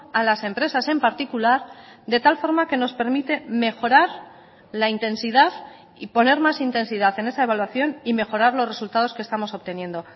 a las empresas en particular de tal forma que nos permite mejorar la intensidad y poner más intensidad en esa evaluación y mejorar los resultados que estamos obteniendo